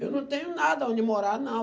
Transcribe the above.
Eu não tenho nada onde morar, não.